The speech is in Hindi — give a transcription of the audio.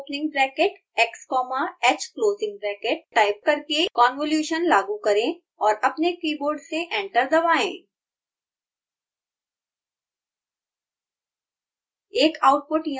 अब convol opening bracket x comma h closing bracket type करके convolution लागू करें और अपने कीबोर्ड से ए्ंटर दबाएँ